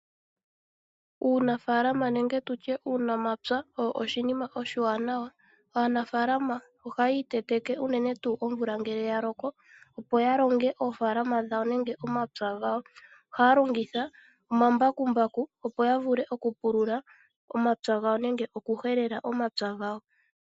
Uunafalaama nenge uunamapya owo oshinima oshiwanawa. Aanafaalama ohaya iteteke unene tuu ngele omvula ya loko, opo ya longe oofaalama dhawo nenge omapya gawo. Ohaya longitha omambakumbaku, opo ya vule okupulula omapya gawo nenge okuhelela omapya gawo.